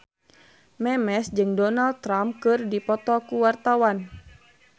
Memes jeung Donald Trump keur dipoto ku wartawan